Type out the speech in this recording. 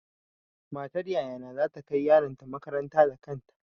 Matar yaya na za ta kai yaron ta makaranta da kanta.